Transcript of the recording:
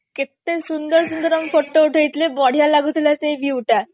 କେତେ ସୁନ୍ଦର ସୁନ୍ଦର ଆମେ photo ଉଠେଇ ଥିଲେ ବଢିଆ ଲାଗୁଥିଲା ସେଇ view ଟା